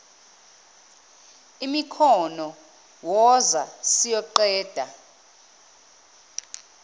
imikhono woza siyoqeda